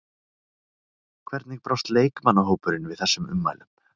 Hvernig brást leikmannahópurinn við þessum ummælum?